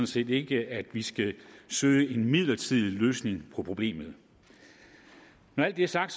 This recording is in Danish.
set ikke at vi skal søge en midlertidig løsning på problemet når alt det er sagt